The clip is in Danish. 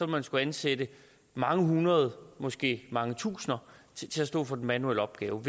man skulle ansætte mange hundrede måske mange tusinder til at stå for den manuelle opgave